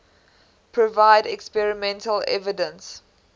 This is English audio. provide experimental evidence